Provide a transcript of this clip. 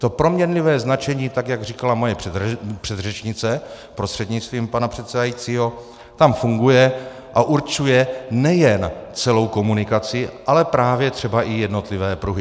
To proměnlivé značení, tak jak říkala moje předřečnice prostřednictvím pana předsedajícího, tam funguje a určuje nejen celou komunikaci, ale právě třeba i jednotlivé pruhy.